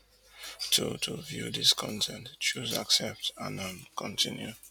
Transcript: to to view dis con ten t choose accept and um continue